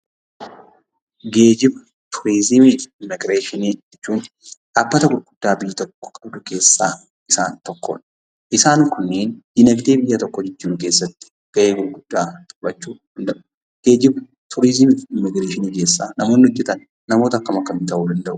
Geejjiba, Turizimiif immigireeshinii jechuun dhaabbata gurguddaa biyyi tokko qabdu keessaa isaan tokkodha. kunniin diinagdee biyya tokkoo jijjiiruu keessatti ga'ee gurguddaa taphachuu danda'u. Geejjiba, turizimiif immigireeshinii keessa namoonni hojjetan namoota akkam akkamii ta'uu danda'u?